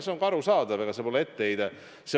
See on ka arusaadav, ega see pole etteheide.